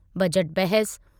budget बहसु